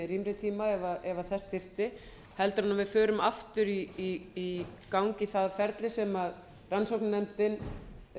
rýmri tíma ef þess þyrfti heldur en við förum aftur í gang í það ferli sem rannsóknarnefndin